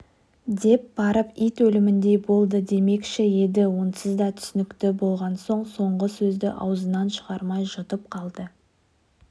деп барып ит өліміндей болды демекші еді онсыз да түсінікті болған соң соңғы сөзді аузынан шығармай жұтып қалды